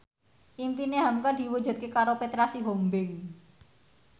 impine hamka diwujudke karo Petra Sihombing